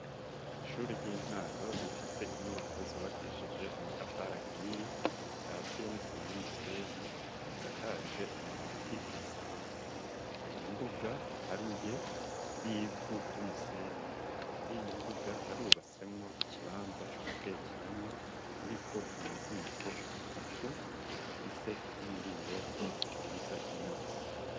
Ishure ry'intango rifise inyubako zubakishije amatafari ahiye akatiye n'isima n'umusenyi, risakaje amabati asanzwe, hari imbuga iharuye y'ivu ry'umusenyi muriyo mbuga harubasemwo ikibanza cogutekeramwo kiriko amaziko atatu afise n'imiringoti iduza imyosi.